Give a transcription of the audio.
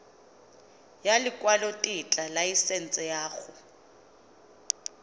ya lekwalotetla laesense ya go